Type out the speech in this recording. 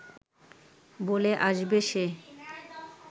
বলে আসবে সে